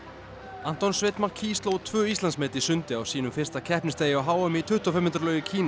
Anton Sveinn McKee sló tvö Íslandsmet í sundi á sínum fyrsta keppnisdegi á h m í tuttugu og fimm metra laug í Kína